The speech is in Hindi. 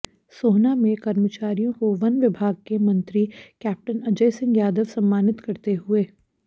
सोहना में कर्मचारियों को वन विभाग के मंत्री कैंपटन अजय सिंह यादव सम्मानित करते हुए